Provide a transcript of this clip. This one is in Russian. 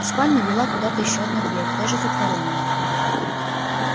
из спальни вела куда-то ещё одна дверь тоже затворённая